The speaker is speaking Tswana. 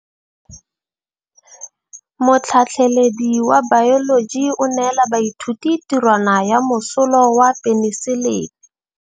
Motlhatlhaledi wa baeloji o neela baithuti tirwana ya mosola wa peniselene.